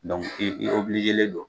i don